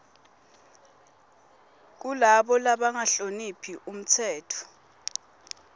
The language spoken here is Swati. kulabo labangahloniphi umtsetfo